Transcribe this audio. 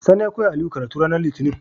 Sani ya koyawa aliyu karatu ranar litinin